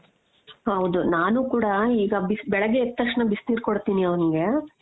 ಹೌದು ನಾನು ಕೂಡ ಈಗ ಬೆಳಗ್ಗೆ ಎದ್ದ್ ತಕ್ಷಣ ಬಿಸಿ ನೀರ್ ಕೊಡ್ತೀನಿ ಅವ್ನಿಗೆ .